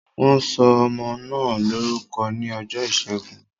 Wọn sọ ọmọ náà lórúkọ ní ọjọ́ ìṣẹ́gun